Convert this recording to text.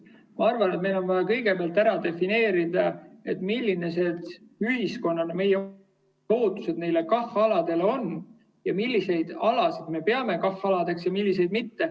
Ma arvan, et meil on vaja kõigepealt ära defineerida, millised meie ootused ühiskonnana neile KAH‑aladele on ja milliseid alasid me peame KAH‑aladeks ja milliseid mitte.